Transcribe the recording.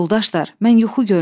Yoldaşlar, mən yuxu görmüşəm.